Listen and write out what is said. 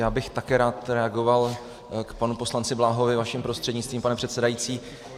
Já bych také rád reagoval k panu poslanci Bláhovi vaším prostřednictvím, pane předsedající.